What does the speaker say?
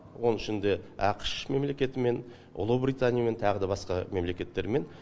оның ішінде ақш мемлекетімен ұлыбританиямен тағы да басқа мемлекеттермен